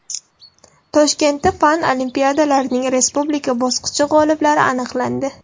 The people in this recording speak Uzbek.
Toshkentda fan olimpiadalarining respublika bosqichi g‘oliblari aniqlandi.